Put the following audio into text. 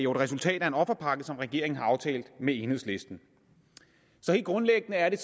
resultat af en offerpakke som regeringen har aftalt med enhedslisten helt grundlæggende er det